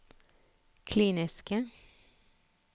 kliniske